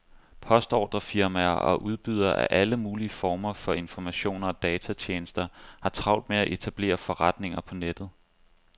Postordrefirmaer og udbydere af alle mulige former for informationer og datatjenester har travlt med at etablere forretninger på nettet.